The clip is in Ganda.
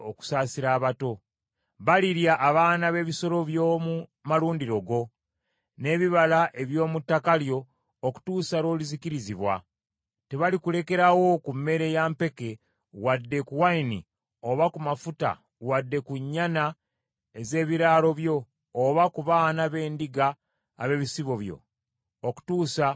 Balirya abaana b’ebisolo by’omu malundiro go, n’ebibala eby’omu ttaka lyo okutuusa lw’olizikirizibwa. Tebalikulekerawo ku mmere ya mpeke, wadde ku nvinnyo oba ku mafuta, wadde ku nnyana ez’ebiraalo byo, oba ku baana b’endiga ab’ebisibo byo, okutuusa lw’olizikirira.